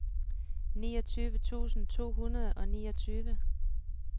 niogtyve tusind to hundrede og niogtyve